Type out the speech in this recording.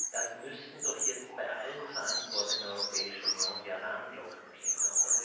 Da müssten doch jetzt bei allen Verantwortlichen in der Europäischen Union die Alarmglocken klingeln!